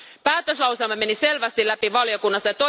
Päätöslauselma meni selvästi läpi valiokunnassa.